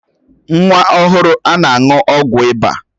Nwa ọhụrụ a na-aṅụ ọgwụ ịba